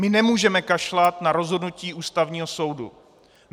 My nemůžeme kašlat na rozhodnutí Ústavního soudu.